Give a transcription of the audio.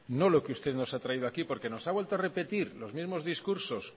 no lo que usted nos ha traído aquí porque nos ha vuelto a repetir los mismos recursos